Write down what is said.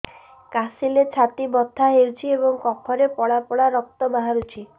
କାଶିଲେ ଛାତି ବଥା ହେଉଛି ଏବଂ କଫରେ ପଳା ପଳା ରକ୍ତ ବାହାରୁଚି